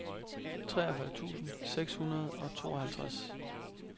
treogfyrre tusind seks hundrede og tooghalvtreds